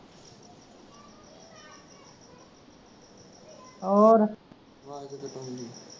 ਹੋਰ